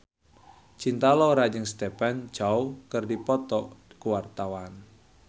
Cinta Laura jeung Stephen Chow keur dipoto ku wartawan